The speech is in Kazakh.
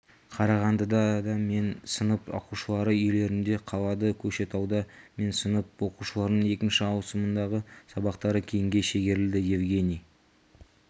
қарағандыда мен сынып оқушылары үйлерінде қалады көкшетауда мен сынып оқушыларының екінші ауысымындағы сабақтары кейінге шегерілді евгений